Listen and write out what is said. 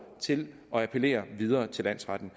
til at appellere videre til landsretten